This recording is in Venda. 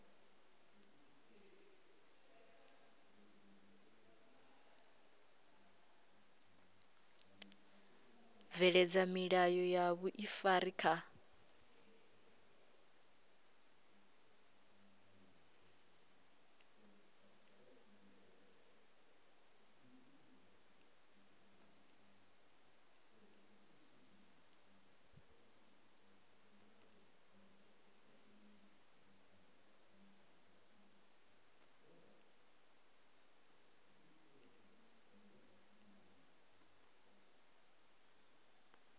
bveledza milayo ya vhuifari kha